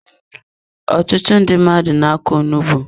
Ọtụtụ ndị mmadụ na-akọ onugbu.